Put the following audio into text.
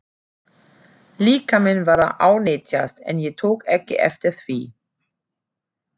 Líkaminn var að ánetjast en ég tók ekki eftir því.